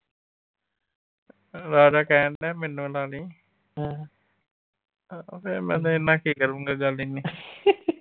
ਰਾਜਾ ਕਹਿਣ ਦਿਆ ਮੈਨੂੰ ਲਾ ਲਈ। ਆਹੋ ਫਿਰ ਮੈਂ ਤੇਰੇ ਨਾਲ ਕੀ ਕਰੂੰਗਾ ਗੱਲ ਹੀ ਨਈ।